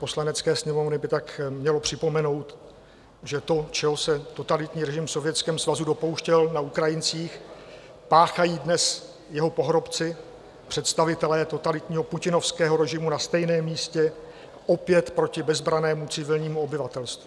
Poslanecké sněmovny by tak mělo připomenout, že to, čeho se totalitní režim v Sovětském svazu dopouštěl na Ukrajincích, páchají dnes jeho pohrobci, představitelé totalitního putinovského režimu na stejném místě, opět proti bezbrannému civilnímu obyvatelstvu.